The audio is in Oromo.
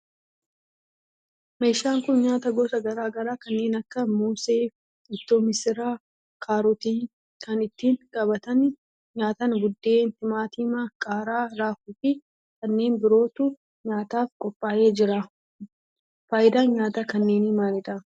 Meeshaan kun nyaata gosa garaa garaa kanneen akka moosee, ittoo missiraa, kaarootii, kan ittiin qabatanii nyaatan buddeen , timaatima, qaaraa, raafuu fi kanneen birootu nyaataf qophaa'ee jira. faayidaan nyaata kanneenii maalidha?